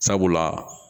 Sabula